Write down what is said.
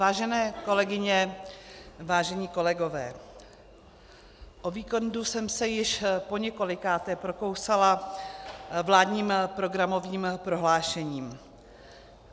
Vážené kolegyně, vážení kolegové, o víkendu jsem se již po několikáté prokousala vládním programovým prohlášením.